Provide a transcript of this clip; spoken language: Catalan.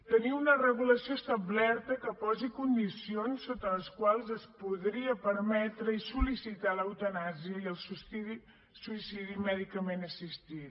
tenir una regulació establerta que posi condicions sota les quals es podria permetre i sol·licitar l’eutanàsia i el suïcidi mèdicament assistit